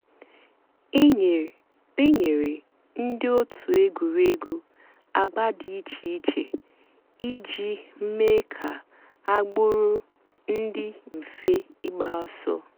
é nyéré ndị́ ótú ègwùrégwú àgbà dị́ ìchè ìchè ìjì méé kà àgbụ́rụ́ dị́ m̀fè ígbàsó.